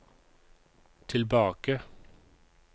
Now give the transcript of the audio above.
tilbake